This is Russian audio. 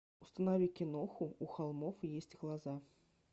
установи киноху у холмов есть глаза